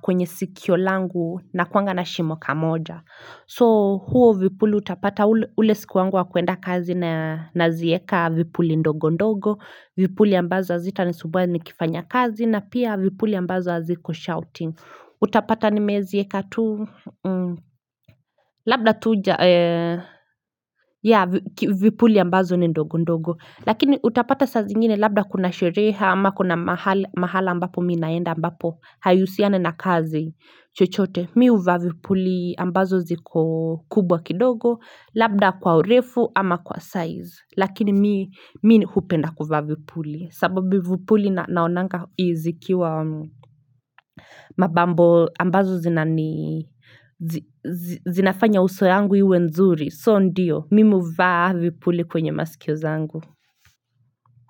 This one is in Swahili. kwenye sikio langu nakuanga na shimo kamoja so huo vipuli utapata ule siku wangu wa kuenda kazi na nazieka vipuli ndogo ndogo vipuli ambazo hazita nisubua nikifanya kazi na pia vipuli ambazo haziko shouting Utapata nimezieka tu Labda tuja ya vipuli ambazo ni ndogo ndogo Lakini utapata saa zingine labda kuna sherehe ama kuna mahala ambapo mi naenda ambapo Haihusiani na kazi chochote Mi huvaa vipuli ambazo ziko kubwa kidogo Labda kwa urefu ama kwa size Lakini mi hupenda kuvaa vipuli sababu vipuli naonanga izikiwa mabambo ambazo zinafanya uso yangu iwe nzuri So ndio, mimi huvaa vipuli kwenye masikio zangu.